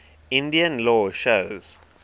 indian law shows